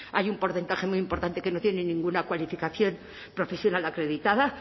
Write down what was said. hay un porcentaje muy importante que no tiene ninguna cualificación profesional acreditada